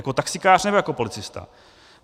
Jako taxikář, nebo jako policista?